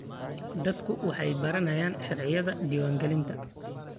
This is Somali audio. Dadku waxay baranayaan sharciyada diiwaangelinta.